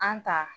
An ta